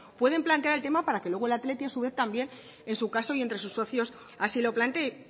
pueden plantar el tema para que luego el athletic a su vez también en su caso y entre sus socios así lo plantee